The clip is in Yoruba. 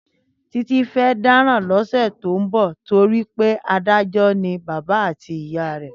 Títí fẹ́ dáràn lọ́sẹ̀ tó ń bọ̀ nítorí pé adájọ́ ni bàbá àti ìyá rẹ̀.